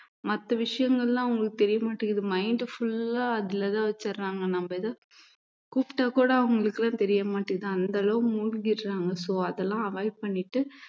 மத்த விஷயங்கள் எல்லாம் அவங்களுக்கு தெரிய மாட்டேங்குது mind full ஆ அதுலதான் வச்சிடுறாங்க நம்ம இத கூப்பிட்டா கூட அவங்களுக்குலாம் தெரிய மாட்டேங்குது அந்த அளவுக்கு மூழ்கிடுறாங்க so அதெல்லாம் avoid பண்ணிட்டு